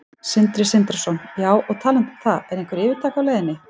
Sindri Sindrason: Já, og talandi um það, er einhver yfirtaka á leiðinni?